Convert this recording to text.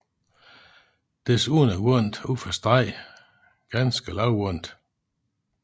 Desuden er vandet ud for stranden ganske lavvandet